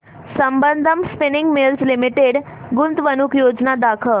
Sambandam spinning mills limited गुंतवणूक योजना दाखव